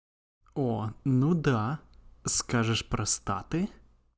о ну да скажешь простаты